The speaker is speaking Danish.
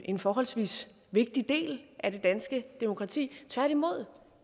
en forholdsvis vigtig del af det danske demokrati